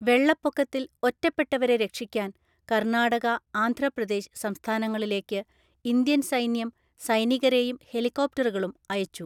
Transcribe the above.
വെള്ളപ്പൊക്കത്തിൽ ഒറ്റപ്പെട്ടവരെ രക്ഷിക്കാൻ കർണാടക, ആന്ധ്രാപ്രദേശ് സംസ്ഥാനങ്ങളിലേക്ക് ഇന്ത്യൻ സൈന്യം സൈനികരെയും ഹെലികോപ്റ്ററുകളും അയച്ചു.